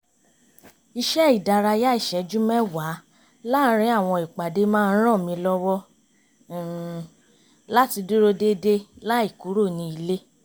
iṣẹ́ ìdárayá ìṣẹ́jú mẹ́wàá láàrín àwọn ìpàdé má ń ràn mí lọ́wọ́ um láti dúró déédéé láì kúrò ní ilé